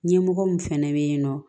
Ɲɛmɔgɔ min fɛnɛ bɛ yen nɔ